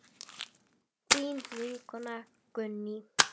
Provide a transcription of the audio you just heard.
Þín vinkona Gunný.